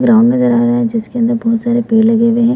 उधर आम नजर आ रहा है जिसके अंदर बहोत सारे पेड़ लगे हुए हैं।